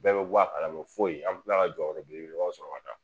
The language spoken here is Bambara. Bɛɛ bɛ bɔ a kalama foyi an bɛ tila ka jɔyɔrɔ belebelebaw sɔra ka taa